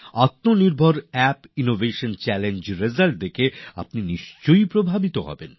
আত্মনির্ভর app innovation চাল্লেঞ্জএর ফলাফল দেখে আপনি নিশ্চিত প্রভাবিত হবেন